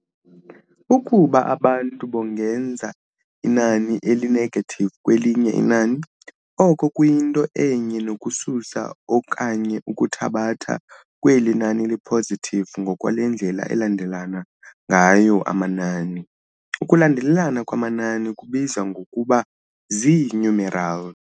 Ukuba abantu bongeza inani eli-negative kwelinye inani, oko kuyinto enye nokususa okanye ukuthabatha kweli nani li-positive ngokwale ndlela alandelelana ngayo amanani, ukulandelelana kwamanani kubizwa ngokuba zii-numeral.